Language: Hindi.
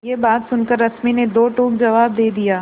यह बात सुनकर रश्मि ने दो टूक जवाब दे दिया